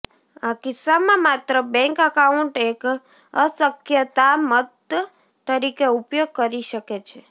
આ કિસ્સામાં માત્ર બેંક એકાઉન્ટ એક અસ્ક્યામત તરીકે ઉપયોગ કરી શકે છે